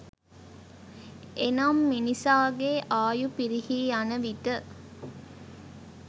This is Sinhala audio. එනම් මිනිසාගේ ආයු පිරිහී යන විට